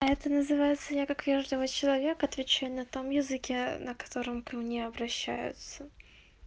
а это называется я как вежливый человек отвечаю на том языке на котором ко мне обращаются